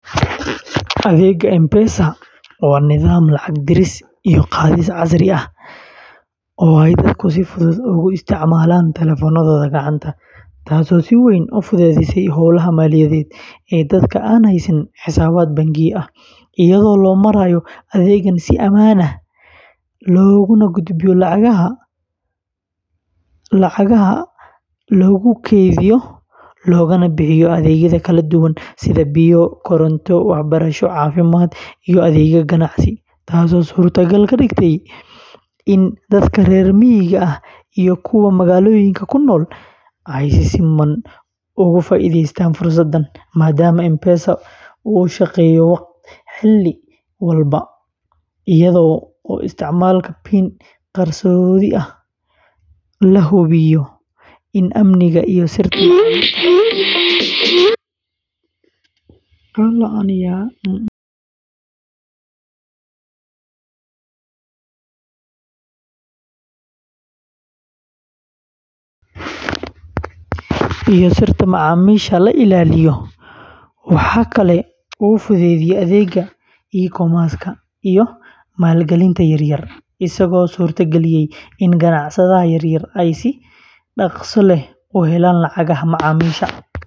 Adeegga M-Pesa waa nidaam lacag diris iyo qaadis casri ah oo ay dadku si fudud ugu isticmaalaan taleefannadooda gacanta, taasoo si weyn u fududeysay howlaha maaliyadeed ee dadka aan haysan xisaabaad bangiyo ah, iyadoo loo marayo adeeggan si amaan ah loogu gudbiyo lacagaha, loogu kaydiyo, loogana bixiyo adeegyada kala duwan sida biyo, koronto, waxbarasho, caafimaad, iyo adeegyada ganacsi, taasoo suuragal ka dhigtay in dadka reer miyiga ah iyo kuwa magaalooyinka ku nool ay si siman uga faa’iidaystaan fursadahan, maadaama M-Pesa uu shaqeeyo xilliyada oo dhan, iyadoo isticmaalka PIN qarsoodi ah la hubiyo in amniga iyo sirta macaamiisha la ilaaliyo, waxa kale oo uu fududeeyay adeegga E-commerce-ka iyo maalgelinta yaryar, isagoo suurta galiyay in ganacsatada yaryar ay si dhakhso leh u helaan lacagaha macaamiisha.